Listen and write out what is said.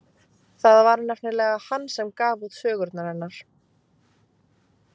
Það var nefnilega hann sem gaf út sögurnar hennar.